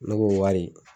Ne b'o wari